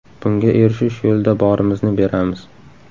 Bunga erishish yo‘lida borimizni beramiz.